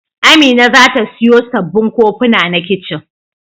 Amina za ta siyo sabbin kofuna na kicin.